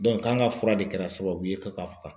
k'an ka fura de kɛra sababu ye ko k'a faga